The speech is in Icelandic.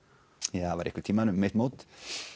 jú það var einhvern tíma um mitt mót